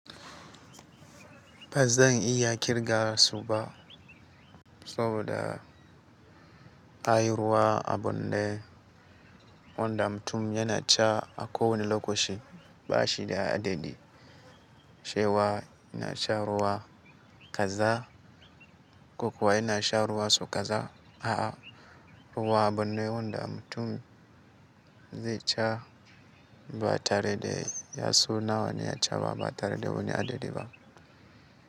Ba zan iya kirga su ba saboda ai ruwa abune wanda mutum yana sha a kowane lokaci ba shi da adadi. Cewa ina shan ruwa kaza, kokawa ina shan ruwa sau kaza. A, ruwa a bune wanda mutum zai ca ba tare da ya san nawa ya ca ba, ba tare da wani adadi ba.